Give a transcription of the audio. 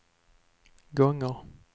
gånger